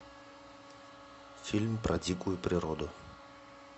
фильм про дикую природу